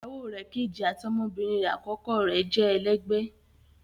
Iyàwọ rè̀ kẹjì àti ọmọbirin rè akọkọ rè jẹ́ èlẹgbẹ